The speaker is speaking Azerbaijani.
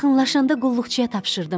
Yaxınlaşanda qulluqçuya tapşırdım.